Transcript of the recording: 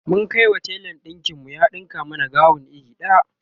mun Kai wa telan ɗinkin mu ya ɗinka mana gawon iri daya